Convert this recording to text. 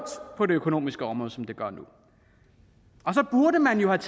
på det økonomiske område som det gør nu så burde man jo have